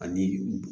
Ani